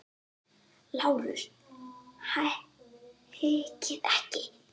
LÁRUS: Hikið ekki!